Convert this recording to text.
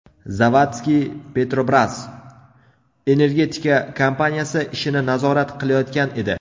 Zavadski Petrobras energetika kompaniyasi ishini nazorat qilayotgan edi.